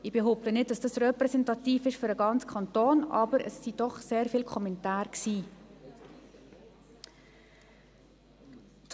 Ich behaupte nicht, dass dies für den ganzen Kanton repräsentativ ist, aber es waren doch sehr viele Kommentare.